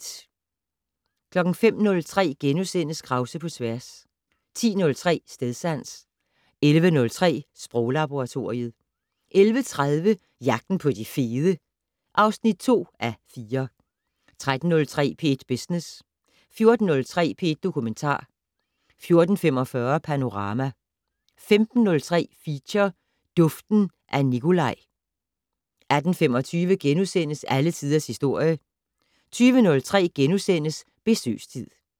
05:03: Krause på tværs * 10:03: Stedsans 11:03: Sproglaboratoriet 11:30: Jagten på de fede (2:4) 13:03: P1 Business 14:03: P1 Dokumentar 14:45: Panorama 15:03: Feature: Duften af Nicolaj 18:25: Alle Tiders Historie * 20:03: Besøgstid *